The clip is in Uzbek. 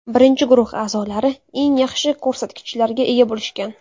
Birinchi guruh a’zolari eng yaxshi ko‘rsatkichlarga ega bo‘lishgan.